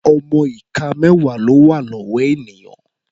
Ọmọ ìka mẹ́wà ló wà lọ́wọ́ ènìyàn.